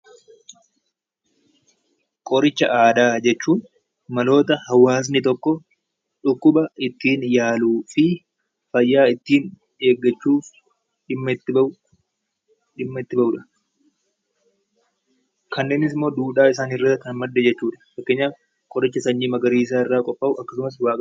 Qoricha aadaa jechuun maloota hawaasni tokko dhukkuba ittiin yaaluu fi fayyaa ittiin eeggachuuf dhimma itti bahudha. Kanneenis immoo duudhaa isaaniirraa kan madde jechuudha. Fakkeenyaaf qoricha sanyii magaariisaa irraa qophaa'u.